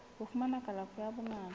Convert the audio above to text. ho fumana kalafo ya bongaka